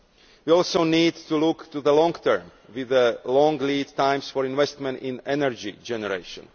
We also need to look to the long term with a long lead time for investment in energy generation.